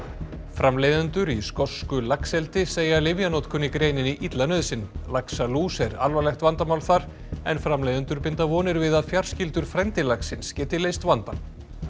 framleiðendur í skosku laxeldi segja lyfjanotkun í greininni illa nauðsyn laxalús er alvarlegt vandamál þar en framleiðendur binda vonir við að fjarskyldur frændi laxins geti leyst vandann